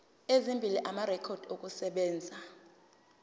ezimbili amarekhodi okusebenza